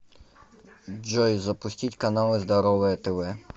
джой запустить каналы здоровое тв